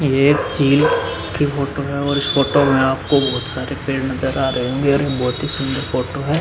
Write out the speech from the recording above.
ये एक फील्ड की फोटो है और इस फोटो में आपको बोहोत सारे पेड़ नजर आ रहे होंगे और ये बोहोत ही सुंदर फोटो है।